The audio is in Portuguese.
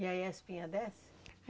E aí a espinha desce?